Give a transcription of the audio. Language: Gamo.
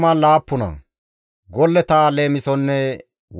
GODAA qaalay taakko yiidi,